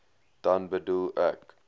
dan bedoel ek